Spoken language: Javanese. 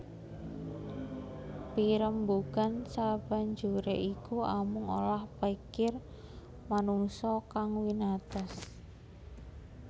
Pirembugan sabanjuré iku amung olah pikir manungsa kang winates